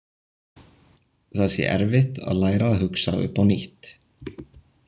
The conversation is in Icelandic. Það sé erfitt að læra að hugsa upp á nýtt.